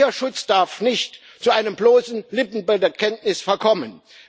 Tierschutz darf nicht zu einem bloßen Lippenbekenntnis verkommen?